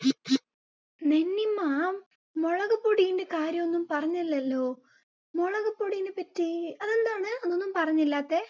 നിന്നിമ്മ, മുളകുപൊടിന്റെ കാര്യം ഒന്നും പറഞ്ഞില്ലല്ലോ. മുളകുപൊടിനെ പറ്റി അതെന്താണ് അമ്മ, അത് ഒന്നും പറഞ്ഞില്ലാത്തെ.